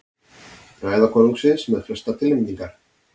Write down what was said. Ræða konungsins með flestar tilnefningar